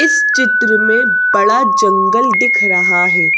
इस चित्र में बड़ा जंगल दिख रहा है।